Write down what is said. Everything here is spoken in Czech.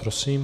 Prosím.